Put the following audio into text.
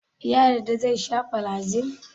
Ya yarda zai sha flagyl?